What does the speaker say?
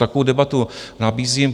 Takovou debatu nabízím.